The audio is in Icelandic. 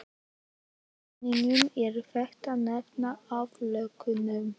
Í fræðunum er þetta nefnt aðlögun.